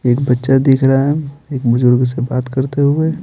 एक बच्चा दिख रहा है एक बुजुर्ग से बात करते हुए--